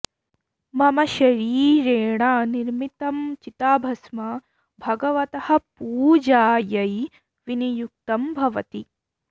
मम शरीरेण निर्मितं चिताभस्म भगवतः पूजायै विनियुक्तं भवति